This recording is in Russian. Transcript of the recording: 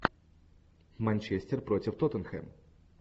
манчестер против тоттенхэм